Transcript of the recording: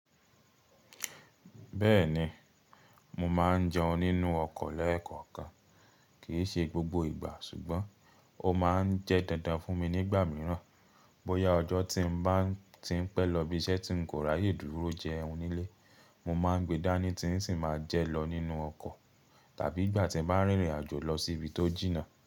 Bẹ́ẹ̀ni, mo ma n jẹun nínú ọkọ̀ lẹ́ẹ̀kọ̀kan. Kì í ṣe gbogbo ìgbà, ṣùgbọ́n ó ma n jẹ́ dandan fún mi nígbà míràn bóyá ọjọ́ tí n bá ti n pẹ́ lọ bí iṣẹ́ ti n kóra yè dúró jẹun nílé, mo ma n gbe dání tí n sì ma jẹ lọ nínú ọkọ̀, tàbí ìgbà tí n bá n rìnrìnàjò lọ sí ibi tó jìnnà.